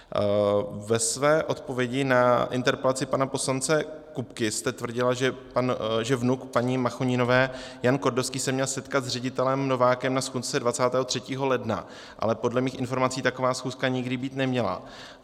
Ve své odpovědi na interpelaci pana poslance Kupky jste tvrdila, že vnuk paní Machoninové Jan Kordovský se měl setkat s ředitelem Novákem na schůzce 23. ledna, ale podle mých informací taková schůzka nikdy být neměla.